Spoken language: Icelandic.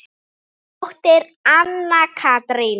Þín dóttir, Anna Katrín.